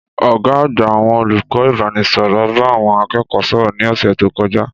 Ọ̀gá àgbà àwọn olùkọ́ ìbánisọ̀rọ̀ bá àwọn akẹ́kọ̀ọ́ sọ̀rọ̀ ní ọ̀sẹ̀ tó kọjá.